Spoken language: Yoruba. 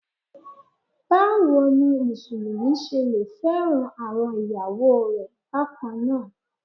Báwo ni Mùsùlùmí ṣe lẹ fẹ́ràn àwọn ìyàwó rẹ̀ bákannáà.